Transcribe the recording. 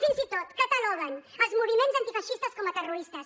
fins i tot cataloguen els moviments antifeixistes com a terroristes